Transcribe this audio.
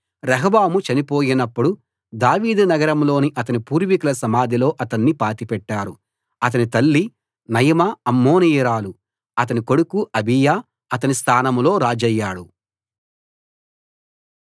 రెహబాము చనిపోయినప్పుడు దావీదు నగరంలోని అతని పూర్వీకుల సమాధిలో అతన్ని పాతిపెట్టారు అతని తల్లి నయమా అమ్మోనీయురాలు అతని కొడుకు అబీయా అతని స్థానంలో రాజయ్యాడు